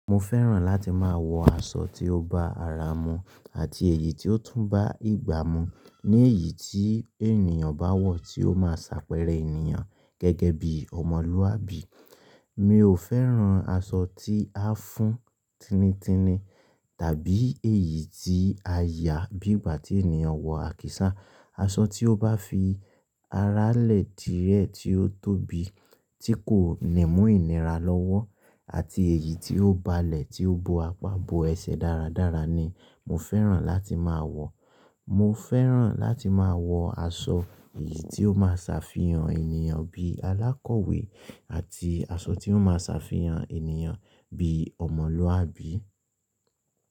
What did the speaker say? Mo fẹ́ràn láti máa wọ aṣọ tí ó bá ara mu àti èyí tí ó tún bá ìgbà mu, ní èyí tí ènìyàn bá wọ̀ tí ó má a ṣàpẹẹrẹ ènìyàn gẹ́gẹ́ bí ọmọlúwàbí. Mi ò fẹ́ràn aṣọ tí a fún tinitini tàbí èyí tí a yà bí ìgbà tí ènìyàn wọ àkísà. Aṣọ tí ó bá fi ará lè díẹ̀ tí ó tóbi tí kò nímú ìnira lọ́wọ́ àti èyí tí ó balẹ̀ tí ó bo apá bo ẹsẹ̀ dáradára ni mo fẹ́ràn láti máa wọ̀. Mo fẹ́ràn láti máa wọ aṣọ èyí tí ó má a ṣàfihàn ènìyàn bí alákọ̀wé àti aṣọ tí ó má a ṣàfihàn ènìyàn bí ọmọlúwàbí.